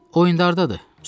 O indi hardadır?